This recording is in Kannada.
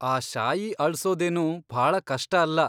ಆ ಶಾಯಿ ಅಳ್ಸೋದೇನು ಭಾಳ ಕಷ್ಟ ಅಲ್ಲ.